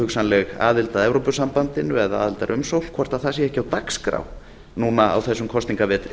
hugsanleg aðild að evrópusambandinu eða aðildarumsókn hvort það sé ekki á dagskrá núna á þessum kosningavetri